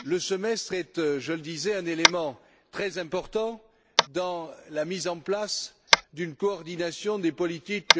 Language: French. Le semestre est, je le disais, un élément très important dans la mise en place d'une coordination des politiques